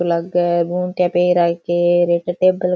लाग गुंथिया पहन राखी है एक टेबल --